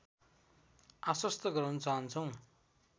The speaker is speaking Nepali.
आश्वस्त गराउन चाहन्छौँ